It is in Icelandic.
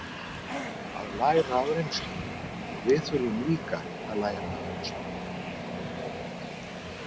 Að læra af reynslunni Og við þurfum líka að læra af reynslunni.